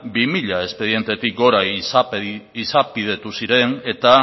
bi mila espedientetik gora izapidetu ziren eta